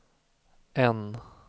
N